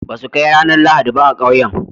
ba su Kai ranar lahadi ba a kauyen